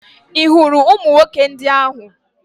Ị hụrụ ụmụ nwoke ndị ahụ?